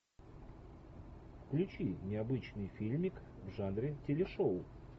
включи необычный фильмик в жанре телешоу